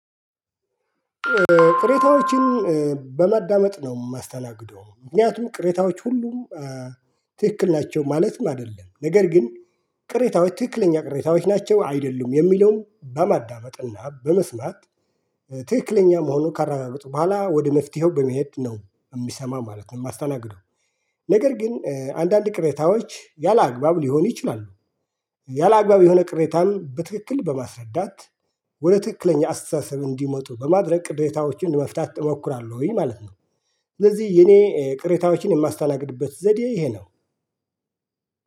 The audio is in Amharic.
ቅሬታዎችን በማዳመጥ ነው የማስተናግደው ምክንያቱም ቅሬታዎች ሁሉም ትክክል ናቸው ማለትም አይደለም ነገር ግን ቅሬታዎች ትክክለኛ ቅሬታዎች ናቸው አይደሉም የሚለውን በማዳመጥና በመስማት ትክክለኛ መሆኑን ካረጋገጡ በኋላ ወደ መፍትሄው በመሄድ ነው የምሰማ ማለት ነው የማስተናግደው። ነገር ግን አንዳንድ ቅሬታዎች ያላግባብ ሊሆን ይችላሉ። ያላግባብ የሆነ ቅሬታን በትክክል በማስረዳት ወደ ትክክለኛ አስተሳሰብ እንዲመጡ በማድረግ ቅሬታዎችን መፍታት እሞክራለሁኝ ማለት ነው። ለዚህ የኔ ቅሬታዎችን የማስተናግድበት ዘዴ ይሄ ነው።